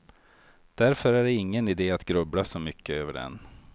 Därför är det ingen ide att grubbla så mycket över den.